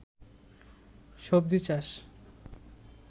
সবজি চাষ